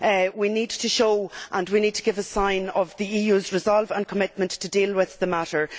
We need to show and we need to give a sign of the EU's resolve and commitment to deal with the matter.